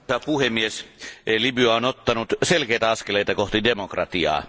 Arvoisa puhemies, Libya on ottanut selkeitä askeleita kohti demokratiaa.